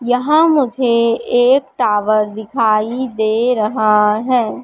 यहां मुझे एक टावर दिखाई दे रहा है।